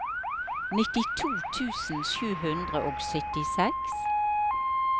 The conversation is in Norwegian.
nittito tusen sju hundre og syttiseks